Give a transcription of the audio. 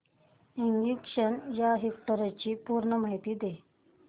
ignition या इव्हेंटची पूर्ण माहिती दे